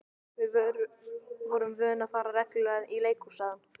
Við vorum vön að fara reglulega í leikhús, sagði hann.